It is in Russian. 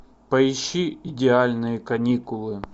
поищи идеальные каникулы